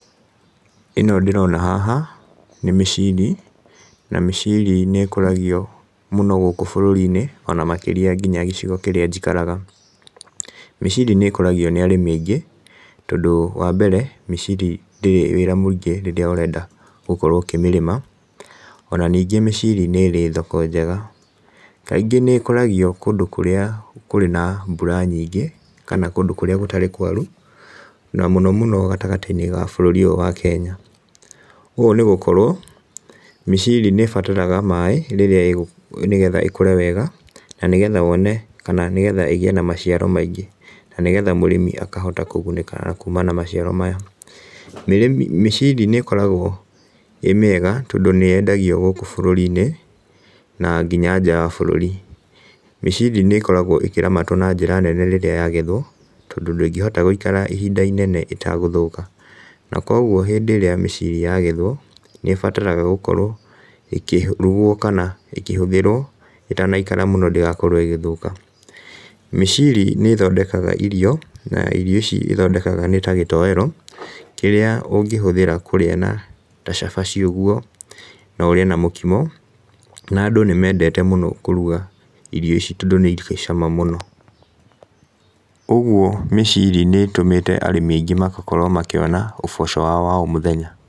Ĩno ndĩrona haha, nĩ mĩciri, na mĩciri nĩ ĩkũragio mũno gũkũ bũrũri-inĩ ona makĩria nginya gĩcigo kĩrĩa njikaraga. Mĩciri nĩ ĩkũragio nĩ arĩmi aingĩ tondũ wambere, mĩciiri ndĩrĩ wĩra mũingĩ rĩrĩa ũrenda gũkorwo ũkĩmĩrĩma, ona ningĩ mĩciri nĩ ĩrĩ thoko njega. Kaingĩ nĩ ĩkũragio kũndũ kũrĩa kũrĩ na mbura nyingĩ kana kũndũ kũrĩa gũtarĩ kwaru, na mũno mũno gatagatĩ-inĩ ga bũrũri ũyũ wa Kenya. Ũũ nĩ gũkorwo mĩciri nĩ ĩbataraga maaĩ rĩrĩa ĩgũ, nĩgetha ĩkũre wega na nĩgetha wone kana nĩgetha ĩgĩe na maciaro maingĩ na nĩgetha mũrĩmi akahota kũgunĩka kũmana na maciaro maya. Mĩrĩmi, mĩciri nĩ ĩkoragwo ĩ mĩega tondũ nĩ yendagio gũkũ bũrũri-inĩ na nginya nja wa bũrũri. Mĩciri nĩ ĩkoragwo ĩkĩramatwo na njĩra nene rĩrĩa yagethwo, tondũ ndĩngĩhota gũikara ihinda inene ĩtagũthũka. Na koguo hĩndĩ ĩrĩa mĩciri yagethwo, nĩ ĩbataraga gũkorwo ĩkĩrugwo kana ĩkĩhũthĩrwo ĩtanaikara mũno ndĩgakorwo ĩgĩthũka. Mĩciri nĩ ĩthondekaga irio, na irio ici ĩthondekaga nĩta gĩtoero, kĩrĩa ũngĩhũthĩra kũrĩa na ta cabaci ũguo, no ũrĩe na mũkimo na andũ nĩ mendete mũno kũruga irio ici tondũ nĩ irĩ cama mũno. Ũguo mĩciri nĩ ĩtũmĩte arĩmi aingĩ makakorwo makĩona ũboco wao wa o mũthenya.